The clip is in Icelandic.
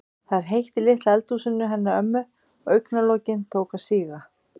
Það var heitt í litla eldhúsinu hennar ömmu og augna- lokin tóku að síga.